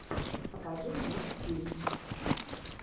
покажи мосфильм